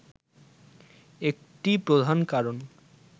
একটি প্রধান কারণ